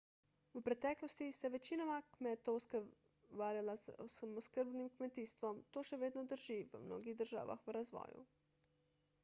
v preteklosti se je večina kmetov ukvarjala s samooskrbnim kmetijstvom to še vedno drži v mnogih državah v razvoju